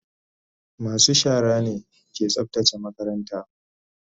masu shara ne ke tsaftace makaranta.